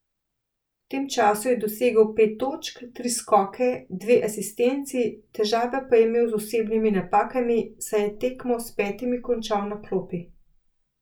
V tem času je dosegel pet točk, tri skoke, dve asistenci, težave pa je imel z osebnimi napakami, saj je tekmo s petimi končal na klopi.